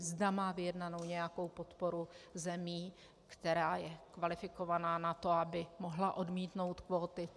Zda má vyjednanou nějakou podporu zemí, která je kvalifikovaná na to, aby mohla odmítnout kvóty.